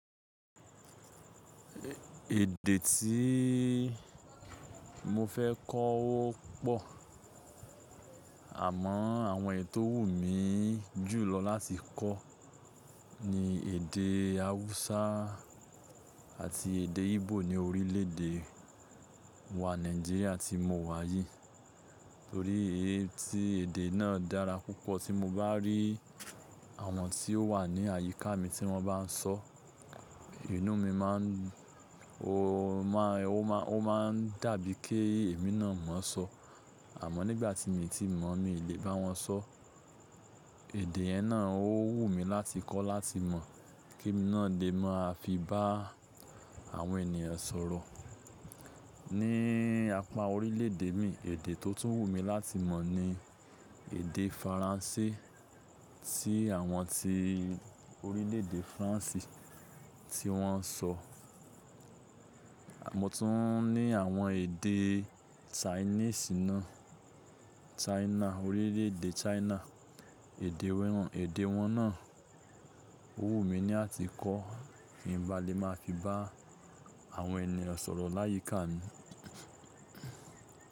Èdè tí mo fẹ́ kọ́ ó pọ̀, àmọ́ àwọn èyi tò wù mí jùlọ láti kọ́ ni èdè Hausa àti èdè Igbo ní orílẹ̀èdè wa Nàìjíríà tí mo wà yìí. Torí èyí tí èdè náà dára púpọ̀ tí mo bá rí àwọn tí ó wà ní àyíká mi tí wọ́n bá ń sọ, inú mi máa ń, ó máà ń dàbí kí èmi náà mọ̀ ọ́n sọ. Àmọ́ nígbà tí mii ti mọ̀, mi ò lè bá wọn sọ. Èdè yen na ò wù mí láti kọ́ láti mọ̀ kí emi náà lè máa fi bá àwọn ènìyàn sọ̀rọ̀. Ní apá orílẹ̀èdè mi, èdè tó tún wù mí láti mọ̀ ni èdè Faransé tí àwọn tí orílẹ̀èdè France tí wọ́n ń sọ. Mo tún ní àwọn èdè Chinese náà, China, orílẹ̀èdè China, èdè wọ́n, èdè wọ́n náà ó wù mí ní à ti kọ́ kí n ba lè máa fi bá àwọn ènìyàn sọ̀rọ̀ láyìíká mi.